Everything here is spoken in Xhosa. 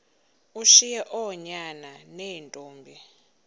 ushiye oonyana neentombi